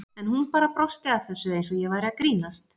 En hún bara brosti að þessu eins og ég væri að grínast.